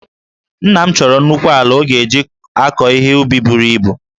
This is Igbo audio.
Nna m chọrọ nnukwu ala ọ ga-eji akọ ihe ubi buru ibu